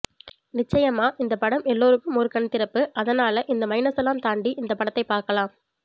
நிச்சயமா இந்த படம் எல்லோருக்கும் ஒரு கண் திறப்பு அதனால இந்த மைனஸ் எல்லாம் தாண்டி இந்த படத்தை பார்க்கலாம்